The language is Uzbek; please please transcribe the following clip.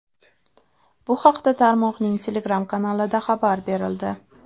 Bu haqda tarmoqning Telegram-kanalida xabar berildi.